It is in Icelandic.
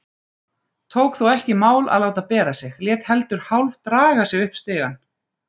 Tók þó ekki í mál að láta bera sig, lét heldur hálfdraga sig upp stigann.